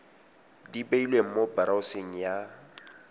di beilweng mo boraoseng ya